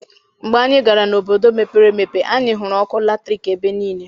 Mgbe anyị gara n'obodo mepere emepe, anyị hụrụ ọkụ latriki ebe niile.